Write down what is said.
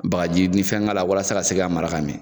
Bakaji ni fɛn k'a la walasa a ka se ka mara ka mɛna.